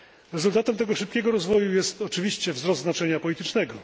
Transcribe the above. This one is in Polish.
Rezultatem tego szybkiego rozwoju jest oczywiście wzrost znaczenia politycznego.